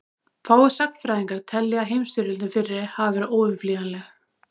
fáir sagnfræðingar telja að heimsstyrjöldin fyrri hafi verið óumflýjanleg